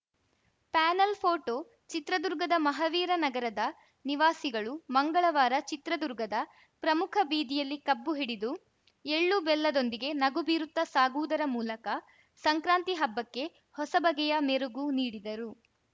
panel photo ಚಿತ್ರದುರ್ಗದ ಮಹವೀರ ನಗರದ ನಿವಾಸಿಗಳು ಮಂಗಳವಾರ ಚಿತ್ರದುರ್ಗದ ಪ್ರಮುಖ ಬೀದಿಯಲ್ಲಿ ಕಬ್ಬು ಹಿಡಿದು ಎಳ್ಳು ಬೆಲ್ಲದೊಂದಿಗೆ ನಗು ಬೀರುತ್ತಾ ಸಾಗುವುದರ ಮೂಲಕ ಸಂಕ್ರಾತಿ ಹಬ್ಬಕ್ಕೆ ಹೊಸಬಗೆಯ ಮೆರುಗು ನೀಡಿದರು